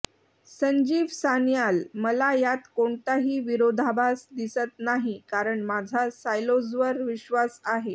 संजीव सान्याल ः मला यात कोणताही विरोधाभास दिसत नाही कारण माझा सायलोज्वर विश्वास नाही